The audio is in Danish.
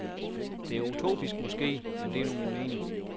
Det er utopisk måske, men det er nu min mening.